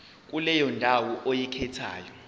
kuleyo ndawo oyikhethayo